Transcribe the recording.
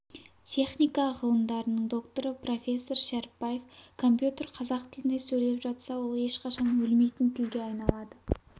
техника ғылымдарының докторы профессор шәріпбаев компьютер қазақ тілінде сөйлеп жатса ол ешқашан өлмейтін тілге айналады